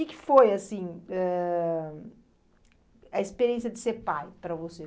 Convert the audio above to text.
O que que foi, assim, ãh a experiência de ser pai para você?